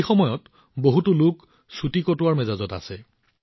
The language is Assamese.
এই সময়ত বহুতো মানুহ ছুটি উপভোগৰ মেজাজত আছে